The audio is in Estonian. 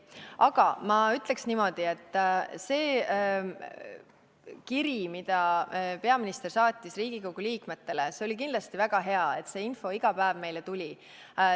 Aga ma ütleks niimoodi selle kirja kohta, mida peaminister saatis Riigikogu liikmetele, et see oli kindlasti väga hea, et see info iga päev meile tuli.